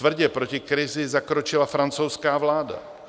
Tvrdě proti krizi zakročila francouzská vláda.